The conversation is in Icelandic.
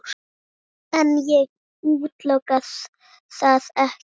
En ég útiloka það ekki.